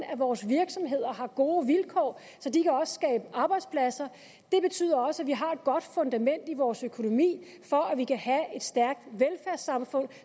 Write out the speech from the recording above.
at vores virksomheder har gode vilkår så de også kan arbejdspladser det betyder også at vi har et godt fundament i vores økonomi for at vi kan have et stærkt velfærdssamfund